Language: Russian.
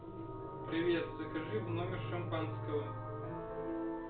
привет закажи в номер шампанского